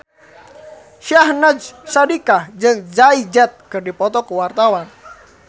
Syahnaz Sadiqah jeung Jay Z keur dipoto ku wartawan